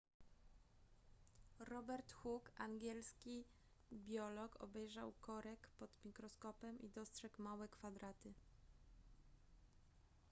robert hook angielski biolog obejrzał korek pod mikroskopem i dostrzegł małe kwadraty